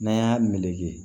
N'an y'a meleke